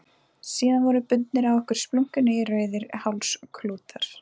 Síðan voru bundnir á okkur splunkunýir rauðir hálsklútar.